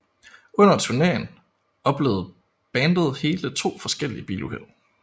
Under turnéen oplevede bandet hele to forskellige biluheld